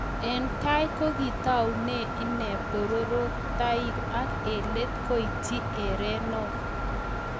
Eng tai kokitaunee inee pororoktaik ak eng let koityii erenok